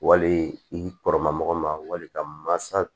Wali i kɔrɔma mɔgɔ ma wali ka mansa